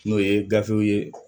N'o ye gafew ye